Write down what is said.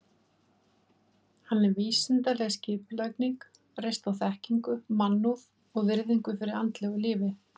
Hann er vísindaleg skipulagning, reist á þekkingu, mannúð og virðingu fyrir andlegu lífi.